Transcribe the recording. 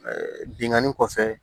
binkanni kɔfɛ